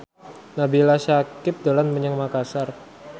Nabila Syakieb dolan menyang Makasar